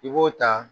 I b'o ta